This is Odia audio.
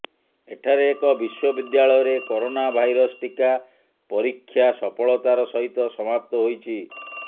ଏଠାରେ ଏକ ବିଶ୍ୱବିଦ୍ୟାଳୟରେ କରୋନାଭାଇରସ୍ ଟିକା ପରୀକ୍ଷା ସଫଳତାର ସହିତ ସମାପ୍ତ ହୋଇଛି